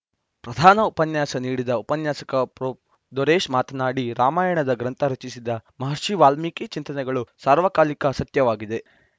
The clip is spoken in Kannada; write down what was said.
ಪ್ರಧಾನ ಉಪನ್ಯಾಸ ನೀಡಿದ ಉಪನ್ಯಾಸಕ ಪ್ರೊ ದೊರೇಶ್‌ ಮಾತನಾಡಿ ರಾಮಾಯಣದ ಗ್ರಂಥ ರಚಿಸಿದ ಮಹರ್ಷಿ ವಾಲ್ಮೀಕಿ ಚಿಂತನೆಗಳು ಸರ್ವಕಾಲಿಕ ಸತ್ಯವಾಗಿವೆ